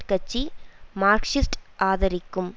கட்சி மார்க்ஸிஸ்ட் ஆதரிக்கும்